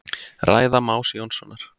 Ræða Más Jónssonar.